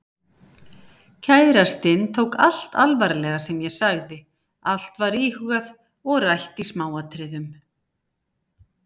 Kærastinn tók allt alvarlega sem ég sagði, allt var íhugað og rætt í smáatriðum.